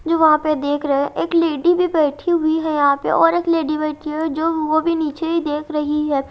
जो वहां पे देख रहे हैं एक लेडी भी बैठी हुई है यहां पे और एक लेडी बैठी है जो वो भी नीचे ही देख रही है।